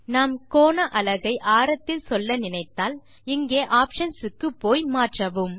நாம் கோண அலகை ஆரகத்தில் சொல்ல நினைத்தால் இங்கே ஆப்ஷன்ஸ் க்குப்போய் மாற்றவும்